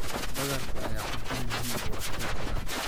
Badarka ayaa cunto muhiim u ah dad badan.